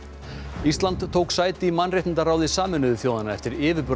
ísland tók sæti í mannréttindaráði Sameinuðu þjóðanna eftir